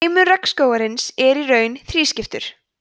heimur regnskógarins er í raun þrískiptur